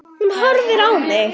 Hún horfir á mig.